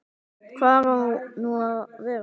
Hvar á nú að vera?